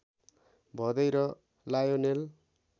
भदै र लायोनेल